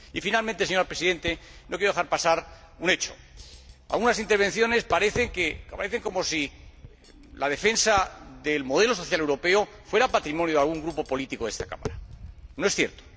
Y finalmente, señora Presidenta, no quiero dejar pasar un hecho. Según algunas intervenciones, parece como si la defensa del modelo social europeo fuera patrimonio de algún grupo político de esta Cámara. No es cierto.